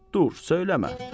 Dur, söyləmə.